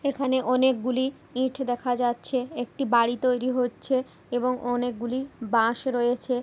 এখানে অনেক গুলি ইট দেখা যাচ্ছে। একটি বাড়ি তৈরি হচ্ছে এবং অনেক গুলি বাঁশ ও রয়েছে।